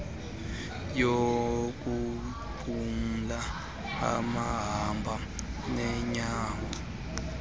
yokunqumla abahamba ngeenyawo